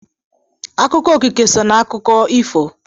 Akụkọ okike so n'akụkọ ifo.